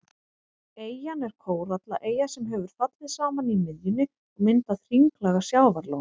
Eyjan er kórallaeyja sem hefur fallið saman í miðjunni og myndað hringlaga sjávarlón.